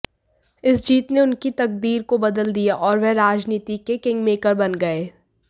इस जीत ने उनकी तकदीर को बदल दिया और वह राजनीति के किंगमेकर बन गए